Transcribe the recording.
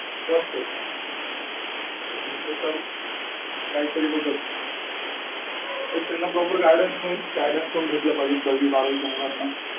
must आहे. शिक्षण घेतलं तर काही तरी होतच शिक्षणाला properguidence पण भेटलं पाहिजे दहावी बारावीच्या मुल्लांना.